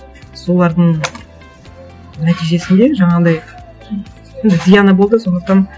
солардың нәтижесінде жаңағындай ну зияны болды сондықтан